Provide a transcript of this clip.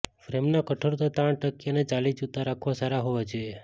ફ્રેમના કઠોરતા તાણ ટકી અને ચાલી જૂતા રાખવા સારા હોવા જોઈએ